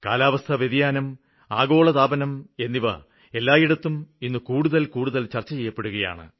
കാലാവസ്ഥവ്യതിയാനം ആഗോളതാപനം എന്നിവ എല്ലായിടത്തും ഇന്ന് കൂടുതല് കൂടുതല് ചര്ച്ച ചെയ്യപ്പെടുകയാണ്